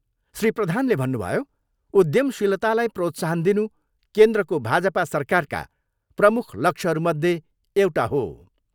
श्री प्रधानले भन्नुभयो, उध्यमशीलतालाई प्रोत्साहन दिनु केन्द्रको भाजपा सरकारका प्रमुख लक्ष्यहरूमध्ये एउटा हो।